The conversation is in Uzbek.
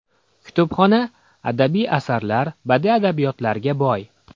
Kutubxona adabiy asarlar, badiiy adabiyotlarga boy.